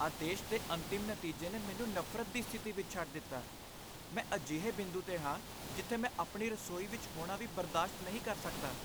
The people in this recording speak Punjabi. ਆਦੇਸ਼ ਦੇ ਅੰਤਮ ਨਤੀਜੇ ਨੇ ਮੈਨੂੰ ਨਫ਼ਰਤ ਦੀ ਸਥਿਤੀ ਵਿੱਚ ਛੱਡ ਦਿੱਤਾ। ਮੈਂ ਅਜਿਹੇ ਬਿੰਦੂ 'ਤੇ ਹਾਂ ਜਿੱਥੇ ਮੈਂ ਆਪਣੀ ਰਸੋਈ ਵਿੱਚ ਹੋਣਾ ਵੀ ਬਰਦਾਸ਼ਤ ਨਹੀਂ ਕਰ ਸਕਦਾ।